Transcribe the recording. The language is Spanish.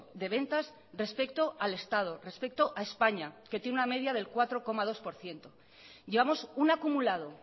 de ventas respecto al estado respecto a españa que tiene una media del cuatro coma dos por ciento llevamos un acumulado